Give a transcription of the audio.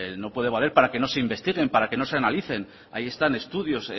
no debe valer para que no se investiguen para que no se analicen ahí están estudios